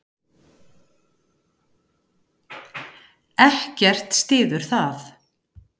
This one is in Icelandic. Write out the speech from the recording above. Ekkert styður það.